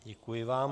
Děkuji vám.